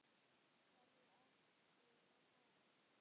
Hverju átti ég að svara.